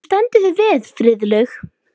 Þú stendur þig vel, Friðlaug!